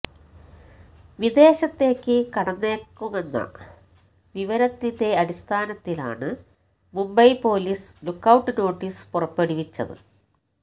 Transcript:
വിദേശത്തേക്ക് കടന്നേക്കുമെന്ന വിവരത്തിന്റെ അടിസ്ഥാനത്തിലാണ് മുംബൈ പൊലീസ് ലുക്കൌട്ട് നോട്ടിസ് പുറപ്പെടുവിച്ചത്